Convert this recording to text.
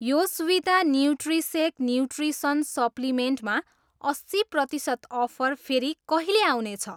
योस्विता न्यूट्रिसेक nutrition supplement मा अस्सी प्रतिसत अफर फेरि कहिले आउने छ?